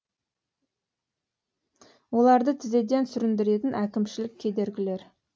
оларды тізеден сүріндіретін әкімшілік кедергілер